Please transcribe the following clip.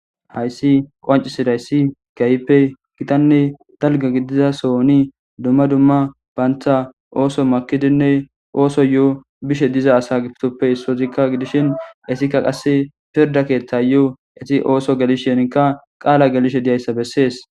Hayssi qoncisiday ssi kayppe gitanne dalga gidiza sooni dumma dumma baantha ooso makidinne ooso yo'o bishe diza asa gittoppe issozikka gidishin esikka qasse pirda keeththa yo'o eti ooso gelisheenka qaala gelishe diyayssa bessees.